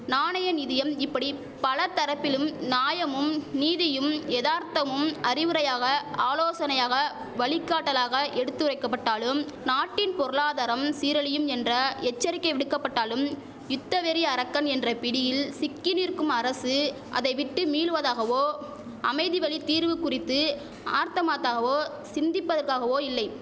நாணய நிதியம் இப்படி பல தரப்பிலும் நாயமும் நீதியும் எதார்த்தமும் அறிவுரையாக ஆலோசனையாக வழிகாட்டலாக எடுத்தரைக்கபட்டாலும் நாட்டின் பொருளாதாரம் சீரழியும் என்ற எச்சரிக்கை விடுக்கபட்டாலும் யுத்தவெறி அரக்கன் என்ற பிடியில் சிக்கி நிற்கும் அரசு அதை விட்டு மீள்வதாகவோ அமைதி வழி தீர்வு குறித்து ஆர்த்தமாத்தாகவோ சிந்திப்பதற்கவோ இல்லை